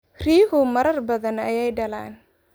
Riyuhu marar badan bay dhalaan.